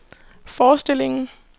forestillingen